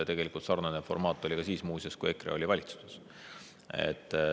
Tegelikult sarnane formaat oli ka siis muuseas, kui EKRE oli valitsuses.